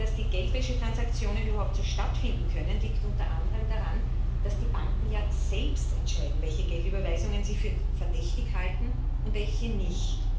Denn dass die Geldwäschetransaktionen überhaupt stattfinden können, liegt unter anderem daran, dass die Banken ja selbst entscheiden, welche Geldüberweisungen sie für verdächtig halten und welche nicht.